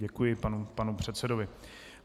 Děkuji panu předsedovi.